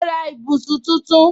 Mo ra ibùsùn tuntun